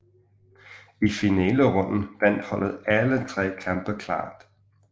I finalerunden vandt holdet alle tre kampe klart